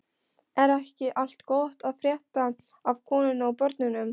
Er ekki allt gott að frétta af konunni og börnunum?